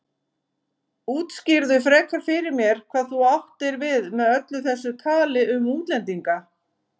Útskýrðu frekar fyrir mér hvað þú áttir við með öllu þessu tali um útlendinga.